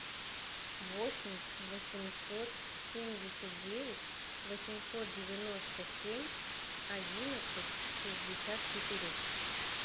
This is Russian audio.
восемь восемьсот семьдесят девять восемьсот девяносто семь одиннадцать шестьдесят четыре